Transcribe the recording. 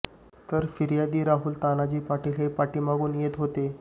तर फिर्यादी राहुल तानाजी पाटील हे पाठीमागून येत होते